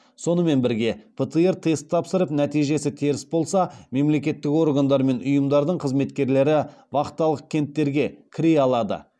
сонымен бірге птр тест тапсырып нәтижесі теріс болса мемлекеттік органдар мен ұйымдардың қызметкерлері вахталық кенттерге кіре алады